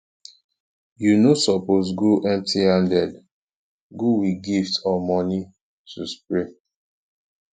you no suppose go empty handed go with gift or money to spray